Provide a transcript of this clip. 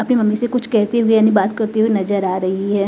अपनी मम्मी से कुछ कहते हुए यानी बात करते हुए नजर आ रही है।